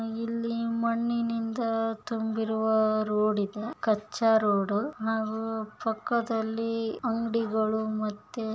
ಇಲ್ಲಿ ಮಣ್ಣಿನಿಂದ ತುಂಬಿರುವ ರೋಡ್ ಇದೆ ಕಚ್ಚಾ ರೋಡು ಹಾಗು ಪಕ್ಕಾದಲ್ಲಿ ಅಂಗಡಿಗಳು ಮ---